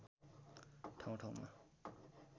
ठाउँ ठाउँमा